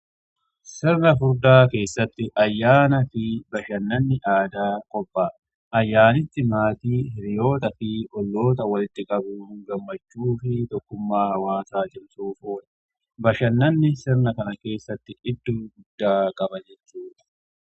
sirna furdaa keessatti ayyaana fi bashannanni aadaa qophaa ayyaanitti maatii hiriyoota fi olloota walitti qabu gammachuu fi tokkummaa hawaasaa cimsuuf oole bashannanni sirna kana keessatti iddoo guddaa qaba jettudha.